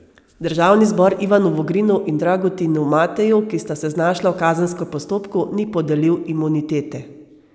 Državni zbor Ivanu Vogrinu in Dragutinu Mateju, ki sta se znašla v kazenskem postopku, ni podelil imunitete.